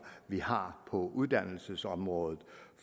vi har på uddannelsesområdet